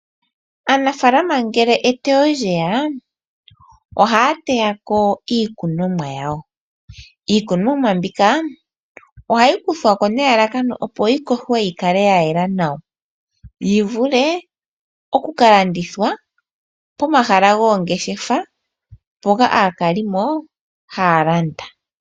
Aanafalama ngele eteyo lyeya, ohaya teyako iikunomwa yawo. Iikunomwa mbika ohayi kuthwako nelalakano opo yi kohwe yi kale ya yela nawa. Yi vulwe oku ka landithwa pomahala goongeshefa mpoka aakalimo haya landa.